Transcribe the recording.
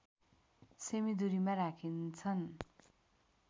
सेमि दूरीमा राखिन्छन्